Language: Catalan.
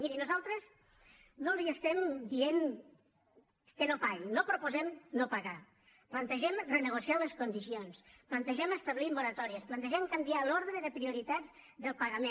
miri nosaltres no li estem dient que no paguin no proposem no pagar plantegem renegociar les condicions plantegem establir moratòries plantegem canviar l’ordre de prioritats del pagament